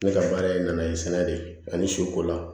Ne ka baara ye na ye sɛnɛ de ani suko la